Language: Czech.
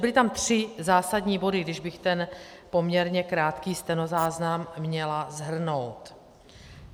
Byly tam tři zásadní body, když bych ten poměrně krátký stenozáznam měla shrnout.